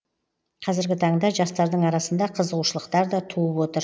қазіргі таңда жастардың арасында қызығушылықтар да туып отыр